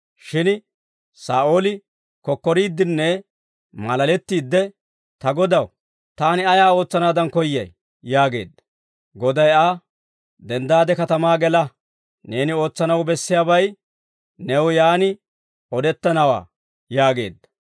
Shin Saa'ooli kokkoriiddinne maalalettiidde, «Ta Godaw, taani ayaa ootsanaadan koyyay?» yaageedda. Goday Aa, «Denddaade katamaa gela; neeni ootsanaw bessiyaabay new yaan odettanawaa» yaageedda.